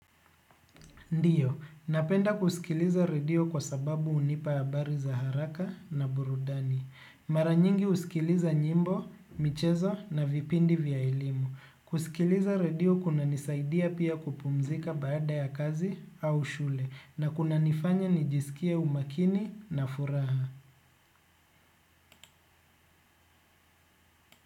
Ndiyo, napenda kusikiliza radio kwa sababu unipa habari za haraka na burudani. Mara nyingi usikiliza nyimbo, michezo na vipindi vya elimu. Kusikiliza radio kunanisaidia pia kupumzika baada ya kazi au shule na kunanifanya nijisikie umakini na furaha.